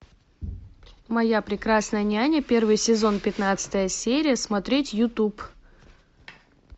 моя прекрасная няня первый сезон пятнадцатая серия смотреть ютуб